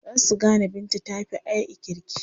Za su gane Binta ta fi A'i kirki.